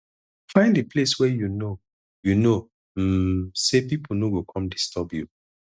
find di place where you know you know um sey pipo no go come disturb you